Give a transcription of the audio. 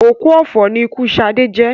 Òkú ọ̀fọ̀ ni ikú Sadé jẹ́